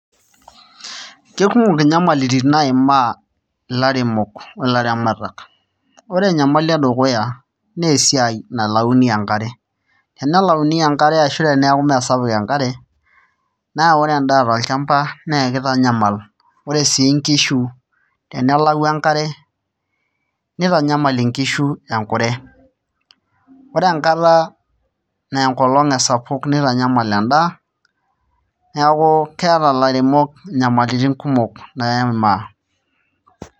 Kekumok inyamalitin naimaa ilairemok o ilaramatak ore enyamali edukuya naa esiai nalauni enkare ore tenelauni enkare ashu teneeku meesapuk enkare naa ore endaa tolchamba naa ekitanyamal ore sii nkishu enelau enkare nitanyamal nkishu enkure, ore enkata naa enkolong' esapuk nitanyamal endaa neeku keeta ilairemok inyamalitin kumok naimaa.